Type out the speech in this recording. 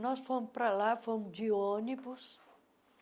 Nós fomos para lá fomos de ônibus.